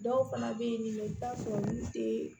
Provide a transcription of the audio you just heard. Dɔw fana bɛ yen nin i bɛ taa sɔrɔ olu tɛ